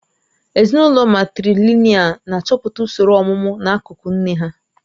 Ezinụlọ matrìlị̀nị́al na-achọpụta usoro ọ̀mụmu n'akụkụ nne ha